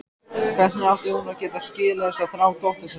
Hvernig átti hún að geta skilið þessa þrá dóttur sinnar?